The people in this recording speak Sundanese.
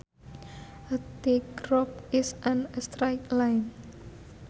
A tight rope is in a straight line